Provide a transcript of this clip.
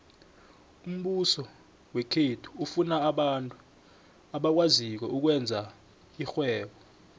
umbuso wekhethu ufuna abantu abakwaziko ukwenza irhwebo